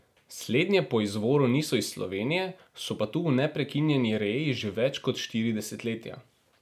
Slednje po izvoru niso iz Slovenije, so pa tu v neprekinjeni reji že več kot štiri desetletja.